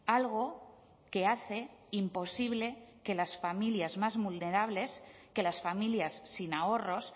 algo que hace imposible que las familias más vulnerables que las familias sin ahorros